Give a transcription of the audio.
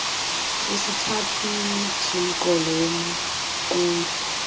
esithathwini somqolo womqulu